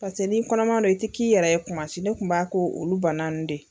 Paseke n'i kɔnɔma dɔn, i tɛ k'i yɛrɛ ye tuma si, ne tun b'a k'olu banaw de ye!